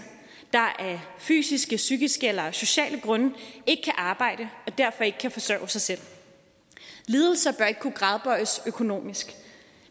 der af fysiske psykiske eller sociale grunde ikke kan arbejde og derfor ikke kan forsørge sig selv lidelser bør ikke kunne gradbøjes økonomisk